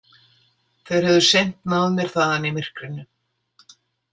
Þeir hefðu seint náð mér þaðan í myrkrinu.